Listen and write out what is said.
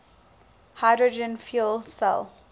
hydrogen fuel cell